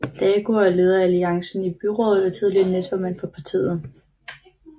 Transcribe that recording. Dagur er leder af Alliancen i byrådet og tidligere næstformand for partiet